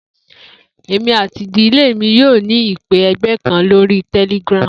Emi ati idile mi yoo ni ipe ẹgbẹ kan lori Telegram.